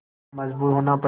पर मजबूर होना पड़ा